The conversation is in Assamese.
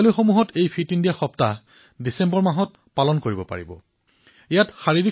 বিদ্যালয়সমূহত ফিট ইণ্ডিয়া সপ্তাহ ডিচেম্বৰ মাহত যিকোনো এটা তাৰিখত পালন কৰিব পাৰি